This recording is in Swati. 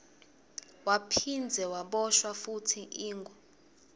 waphindze waboshwa futsi ingo